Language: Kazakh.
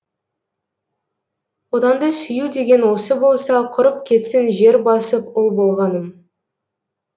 отанды сүю деген осы болса құрып кетсін жер басып ұл болғаным